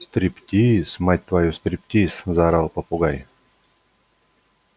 стриптиз мать твою стриптиз заорал попугай